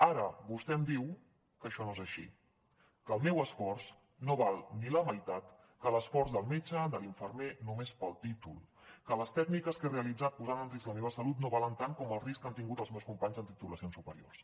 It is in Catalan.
ara vostè em diu que això no és així que el meu esforç no val ni la meitat que l’esforç del metge de l’infermer només pel títol que les tècniques que he realitzat posant en risc la meva salut no valen tant com el risc que han tingut els meus companys amb titulacions superiors